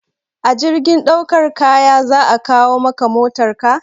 A jirgin daukar kaya za a kawo maka motarka?